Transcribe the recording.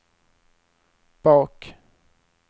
bak